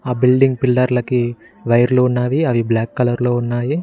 ఆ బిల్డింగ్ పిల్లర్లకి వైర్లు ఉన్నావి అవి బ్లాక్ కలర్ లో ఉన్నాయి.